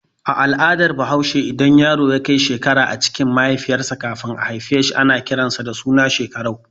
A al'adar bahaushe idan yaro yakai shekara a cikin mahaifiyar sa kafin a haifeshi ana kiran sa da suna Shekarau.